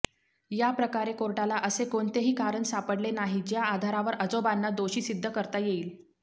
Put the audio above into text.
या प्रकारे कोर्टाला असे कोणतेही कारण सापडले नाही ज्या आधारावर आजोबांना दोषी सिद्ध करता येईल